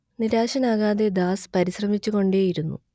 നിരാശനാകാതെ Das പരിശ്രമിച്ചുകൊണ്ടേയിരുന്നു